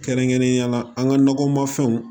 Kɛrɛnkɛrɛnnenya la an ka nɔgɔmafɛnw